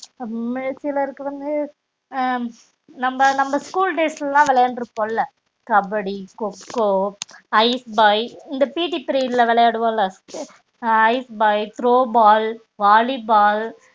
நம்ம age ல இருக்குறப்பே நம்ப நம்ப school days ல விளையாண்டுருப்போம் ல கபடி கொக்கோ ஐஸ் பாய் இந்த PET period விளையாடுவோம்ல ice boy throw ball volley ball